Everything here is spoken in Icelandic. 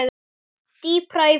Dýpra í fenið